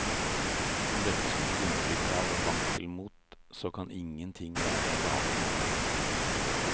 Om dette skulle gi inntrykk av vankelmot, så kan ingenting være galere.